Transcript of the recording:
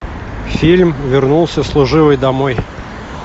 фильм вернулся служивый домой